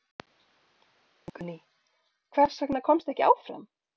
Guðný: Hvers vegna komstu ekki áfram?